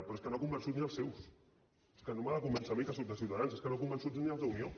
però és que no ha convençut ni als seus és que no m’ha de convèncer a mi que sóc de ciutadans és que no ha convençut ni als d’unió